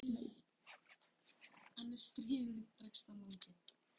En ef stríðið dregst á langinn?